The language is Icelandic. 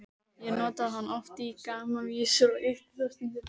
Ég notaði hann oft í gamanvísur og ýkti þá stundum.